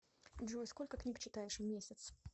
джой сколько книг читаешь в месяц